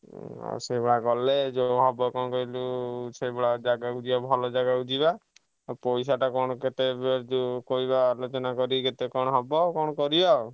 ଆଉ ସେ ବ ଗଲେ ସେ ହବ ଯୋଉ କଣ କହିଲୁ ଭଲ ଜାଗା କୁ ଯିବା ଆଉ ପଇସା ଟା କଣ କେତେ କଣ କହିବ ଆଲୋଚନା କରି କେତେ କଣ ହବ କଣ କରିଆ ଆଉ।